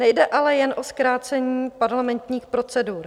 Nejde ale jen o zkrácení parlamentních procedur.